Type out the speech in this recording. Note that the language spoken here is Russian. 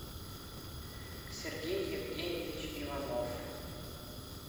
сергей евгеньевич иванов